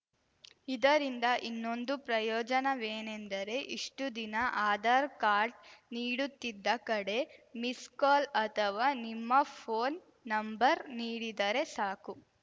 ಇದರಿಂದ ಇನ್ನೊಂದು ಪ್ರಯೋಜನವೇನೆಂದರೆ ಇಷ್ಟುದಿನ ಆಧಾರ್‌ ಕಾರ್ಡ್‌ ನೀಡುತ್ತಿದ್ದ ಕಡೆ ಮಿಸ್‌ ಕಾಲ್‌ ಅಥವಾ ನಿಮ್ಮ ಫೋನ್‌ ನಂಬರ್‌ ನೀಡಿದರೆ ಸಾಕು